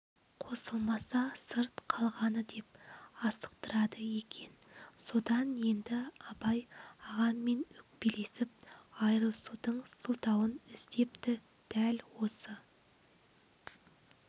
қосылмаса сырт қалғаны деп асықтырады екен содан енді абай ағаммен өкпелесіп айырылысудың сылтауын іздепті дәл осы